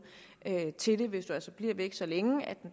til det hvis man altså bliver væk så længe at den